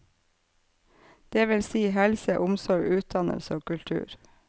Det vil si helse, omsorg, utdannelse og kultur.